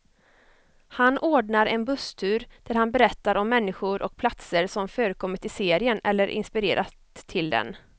Han ordnar en busstur där han berättar om människor och platser som förekommit i serien, eller inspirerat till den.